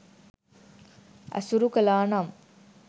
ඇසුරු කළා නම්